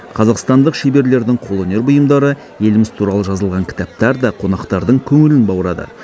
қазақстандық шеберлердің қолөнер бұйымдары еліміз туралы жазылған кітаптар да қонақтардың көңілін баурады